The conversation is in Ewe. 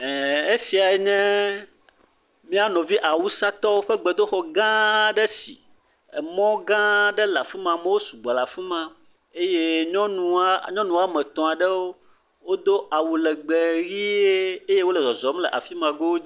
E esia nye mía nɔvi awusatɔwo ƒe gbedoxɔ gã aɖe si emɔ gã aɖe le afi ma. Amewo sugbɔ le afi ma eye nyɔnu wɔ nyɔnu wɔme etɔ̃ aɖewo do awu legbe ʋi eye wo le zɔzɔm le afi ma go.